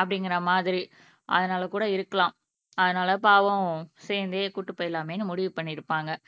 அப்படிங்கிற மாதிரி அதனால கூட இருக்கலாம் அதனால பாவம் சேர்ந்தே கூட்டிட்டு போயிடலாமேன்னு முடிவு பண்ணி இருப்பாங்க